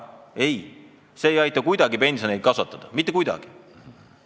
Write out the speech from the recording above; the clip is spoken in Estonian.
Ei, see ei aita kuidagi pensione kasvatada, mitte kuidagi!